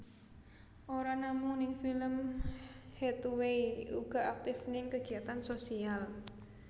Ora namung ning film Hathaway uga aktif ning kegiatan sosial